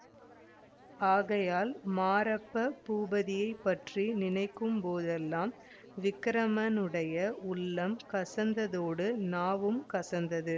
ஆகையால் மாரப்ப பூபதியைப் பற்றி நினைக்கும் போதெல்லாம் விக்கிரமனுடைய உள்ளம் கசந்ததோடு நாவும் கசந்தது